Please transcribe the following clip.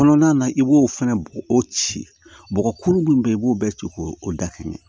Kɔnɔna na i b'o fɛnɛ bɔgɔ o ci bɔgɔ kuru min bɛ i b'o bɛɛ ci k'o o da kelen